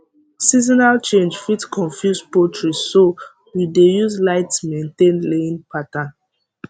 seasonal change fit confuse poultry so we dey use light maintain laying pattern